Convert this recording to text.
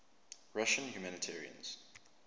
russian humanitarians